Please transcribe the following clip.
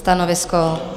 Stanovisko?